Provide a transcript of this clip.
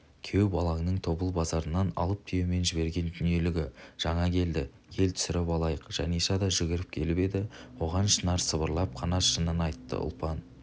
күйеу балаңның тобыл базарынан алып түйемен жіберген дүниелігі жаңа келді кел түсіріп алайық жаниша да жүгіріп келіп еді оған шынар сыбырлап қана шынын айттыұлпан